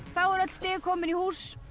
þá eru öll stig komin í hús